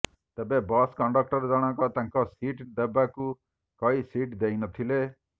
ତେବେ bus conductor ଜଣଙ୍କ ତାଙ୍କୁ ସିଟ ଦେବାକୁ କହି ସିଟ ଦେଇନଥିଲେ